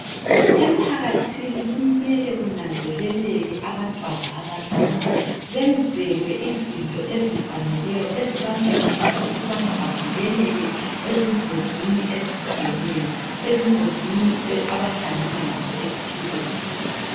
Emphakathini kumele kunanzeleleke abantwana abancane benzelwe izinto ezifaneleyo ezibancedisa ukubana bavikelwe ezingozini ezihlukeneyo abahlangana lazo empilweni.